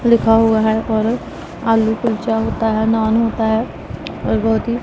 लिखा हुआ है और आलू कुलचा होता है नान होता है और बहुत ही--